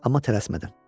Amma tələsmədən.